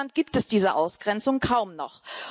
In Finnland gibt es diese Ausgrenzung kaum noch.